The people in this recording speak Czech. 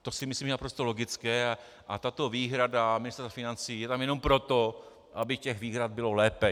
To si myslím, že je naprosto logické, a tato výhrada Ministerstva financí je tam jenom proto, aby těch výhrad bylo lépe.